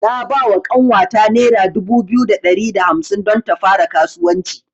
Na bawa ƙanwata nera dubu biyu da ɗari da hamsin don ta fara kasuwanci.